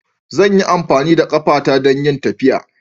Zan yi amfani da ƙafata don yin tafiya.